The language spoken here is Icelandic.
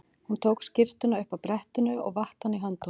Hún tók skyrtuna upp af brettinu og vatt hana í höndunum.